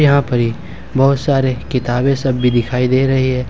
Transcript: यहां पर ये बहुत सारे किताबें सब भी दिखाई दे रही है।